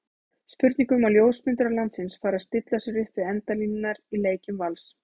Spurning um að ljósmyndarar landsins fari að stilla sér upp við endalínurnar í leikjum Vals?